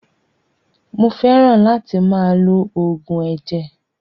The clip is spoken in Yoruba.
Mó fẹràn láti máa lo oògùn ẹ̀jẹ̀.